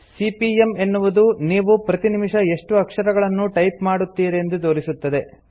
CPM - ಎನ್ನುವುದು ನೀವು ಪ್ರತಿ ನಿಮಿಷ ಎಷ್ಟು ಅಕ್ಷರಗಳನ್ನು ಟೈಪ್ ಮಾಡುತೀರೆಂದು ತೋರಿಸುತ್ತದೆ